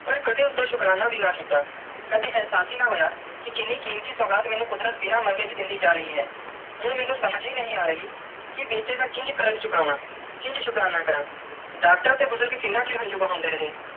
ਪਾਰ ਕਦੇ ਉਸਦਾ ਸ਼ੁਕਰਾਨਾ ਨਾਈ ਅੱਡਾ ਕੀਤਾ ਕਦੀ ਇਹਸਾਸ ਹੀ ਨਾ ਹੋਇਆ ਕੇ ਕੀਨੀ ਕੀਮਤੀ ਸੁਗਾਤ ਕੁਦਰਤ ਮੈਨੂੰ ਬਿਨਾ ਮੰਗੇ ਹੀ ਦੇਂਦੀ ਜਾ ਰਾਏ ਹੈ ਇਹ ਮੈਨੂੰ ਸਮਝ ਹੀ ਨਾਈ ਆਈ ਕੇ ਬੀਤੀ ਦਾ ਕਿ ਕਾਰਜ ਚੁਕਾਵੈ ਕਿੰਜ ਸ਼ੁਕਰਾਨਾ ਕਾਰਾ ਡਾਕਟਰ ਤੇ ਬੁਜ਼ਰਗ ਕਿੰਨਾ ਚਿਰ ਹੰਜੂ ਬਹੰਦੇ ਰੇ.